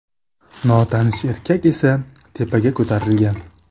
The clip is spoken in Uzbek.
Notanish erkak esa tepaga ko‘tarilgan.